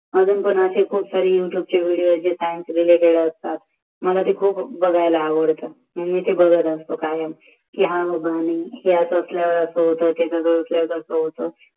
वर पण असे खूप सारे असतात जे सायंशी रिलेटेड असतात मला ते खूप बघायला आवडतात